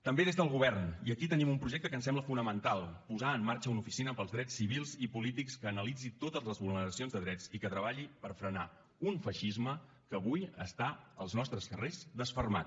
també des del govern i aquí tenim un projecte que ens sembla fonamental posar en marxa una oficina pels drets civils i polítics que analitzi totes les vulneracions de drets i que treballi per frenar un feixisme que avui està als nostres carrers desfermat